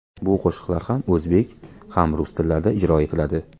Bu qo‘shiqlar ham o‘zbek, ham rus tillarida ijro etiladi.